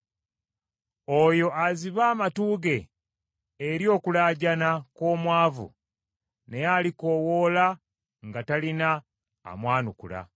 Oyo aziba amatu ge eri okulaajana kw’omwavu, naye alikoowoola nga talina amwanukula.